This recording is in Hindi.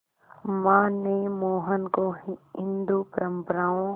मां ने मोहन को हिंदू परंपराओं